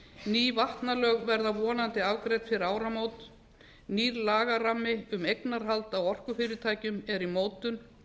ný vatnalög verða vonandi afgreidd fyrir áramót nýr lagarammi um eignarhald á orkufyrirtækjum er í mótun